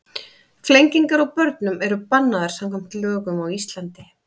Flengingar á börnum eru bannaðar samkvæmt lögum á Íslandi.